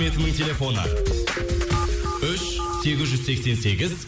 телефоны үш сегіз жүз сексен сегіз